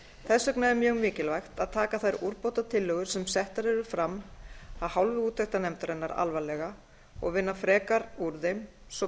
þess vegna er mjög mikilvægt að taka þær umbótatillögur sem settar eru fram af hálfu úttektarnefndarinnar alvarlega og vinna frekar úr þeim svo